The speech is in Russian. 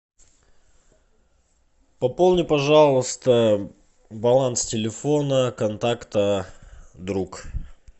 пополни пожалуйста баланс телефона контакта друг